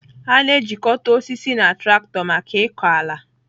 A na-ejikọta osisi na traktọ maka ịkọ ala.